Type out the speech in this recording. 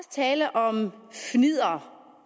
tale om fnidder